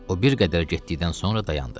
O bir qədər getdikdən sonra dayandı.